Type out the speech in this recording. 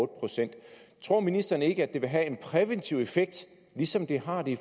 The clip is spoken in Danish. procent tror ministeren ikke at det vil have en præventiv effekt ligesom det har det